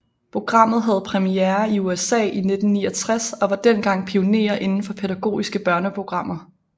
Programmet havde premiere i USA i 1969 og var dengang pionerer inden for pædagogiske børneprogrammer